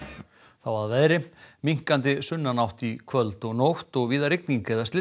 þá að veðri minnkandi sunnanátt í kvöld og nótt og víða rigning eða